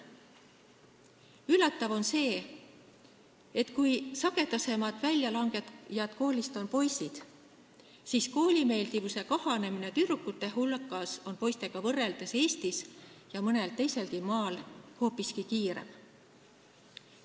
Üllatav on see, et kui koolist väljalangejad on sagedamini poisid, siis koolimeeldivus kahaneb tüdrukute hulgas poistega võrreldes Eestis ja mõnel teiselgi maal hoopiski kiiremini.